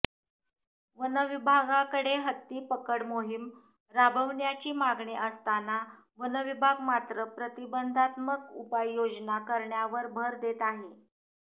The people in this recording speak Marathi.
वनविभागाकडे हत्ती पकड मोहीम राबविण्याची मागणी असताना वनविभाग मात्र प्रतिबंधात्मक उपाययोजना करण्यावर भर देत आहे